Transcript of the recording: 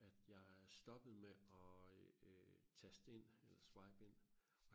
at jeg stoppede med og øh øh taste ind eller swipe ind